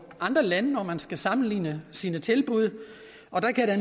andre lande når man skal sammenligne sine tilbud og der kan jeg